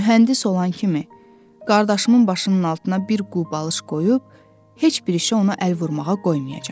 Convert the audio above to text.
Mühəndis olan kimi qardaşımın başının altına bir qubalış qoyub, heç bir işə ona əl vurmağa qoymayacam.